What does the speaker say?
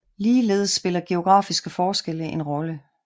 Ligeledes spiller geografiske forskelle en rolle